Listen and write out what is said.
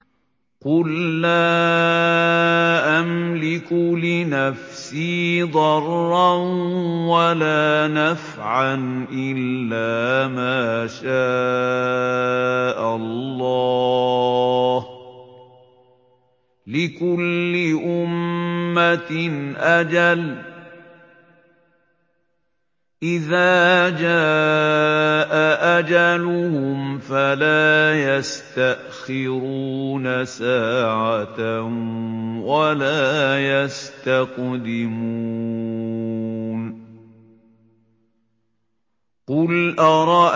قُل لَّا أَمْلِكُ لِنَفْسِي ضَرًّا وَلَا نَفْعًا إِلَّا مَا شَاءَ اللَّهُ ۗ لِكُلِّ أُمَّةٍ أَجَلٌ ۚ إِذَا جَاءَ أَجَلُهُمْ فَلَا يَسْتَأْخِرُونَ سَاعَةً ۖ وَلَا يَسْتَقْدِمُونَ